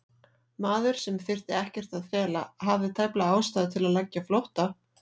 Maður, sem þyrfti ekkert að fela, hafði tæplega ástæðu til að leggja á flótta?